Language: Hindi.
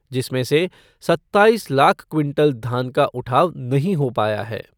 जिसमें से सत्ताईस लाख क्विंटल धान का उठाव नहीं हो पाया है।